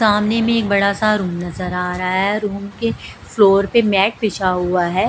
सामने में एक बड़ा सा रूम नजर आ रहा है रूम के फ्लोर पे मैट पिछा हुआ है।